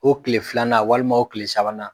O tile filanan walima o tile sabanan